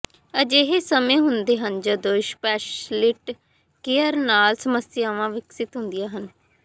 ਅਜਿਹੇ ਸਮੇਂ ਹੁੰਦੇ ਹਨ ਜਦੋਂ ਸਪੈਸ਼ਲਿਟੀ ਕੇਅਰ ਨਾਲ ਸਮੱਸਿਆਵਾਂ ਵਿਕਸਿਤ ਹੁੰਦੀਆਂ ਹਨ